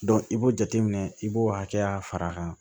i b'o jateminɛ i b'o hakɛya far'a kan